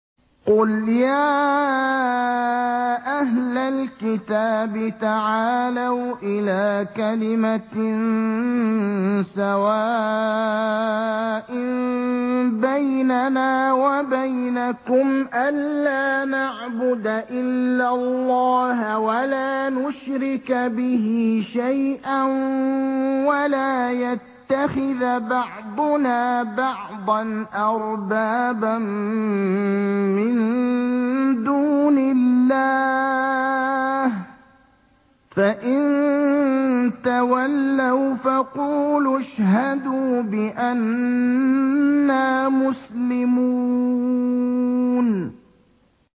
قُلْ يَا أَهْلَ الْكِتَابِ تَعَالَوْا إِلَىٰ كَلِمَةٍ سَوَاءٍ بَيْنَنَا وَبَيْنَكُمْ أَلَّا نَعْبُدَ إِلَّا اللَّهَ وَلَا نُشْرِكَ بِهِ شَيْئًا وَلَا يَتَّخِذَ بَعْضُنَا بَعْضًا أَرْبَابًا مِّن دُونِ اللَّهِ ۚ فَإِن تَوَلَّوْا فَقُولُوا اشْهَدُوا بِأَنَّا مُسْلِمُونَ